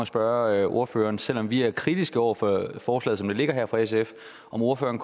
spørge ordføreren selv om vi er kritiske over for forslaget som det ligger her fra sf om ordføreren